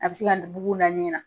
A be se ka bugun da ɲɛ na.